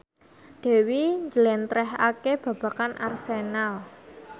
Dewi njlentrehake babagan Arsenal